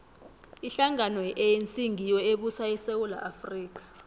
ihlangano ye anc ngiyo ebusa isewula afrika